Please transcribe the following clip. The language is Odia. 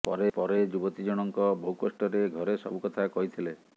ପରେ ଯୁବତୀ ଜଣଙ୍କ ବହୁକଷ୍ଟରେ ଘରେ ସବୁ କଥା କହିଥିଲେ